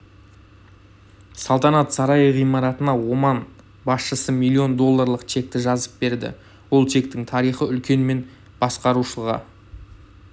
салтанат сарайы ғимаратына оман басшысы миллион долларлық чекті жазып берді ол чектің тариіы үлкен мен басқарушыға